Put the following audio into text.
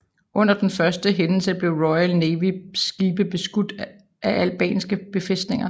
Under den første hændelse blev Royal Navy skibe beskudt fra albanske befæstninger